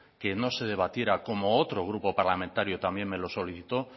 que no se debatiera como otro grupo parlamentario también me le solicitó